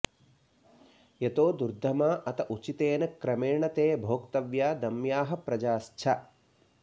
यतो दुर्दमा अथ उचितेन क्रमेण ते भोक्तव्या दम्याः प्रजाश्च